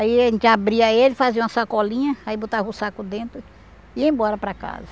Aí a gente abria ele, fazia uma sacolinha, aí botava o saco dentro e ia embora para casa.